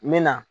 N bɛ na